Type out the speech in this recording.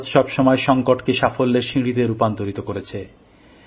ভারত সবসময় সংকটকে সাফল্যের সিঁড়িতে রূপান্তরিত করেছে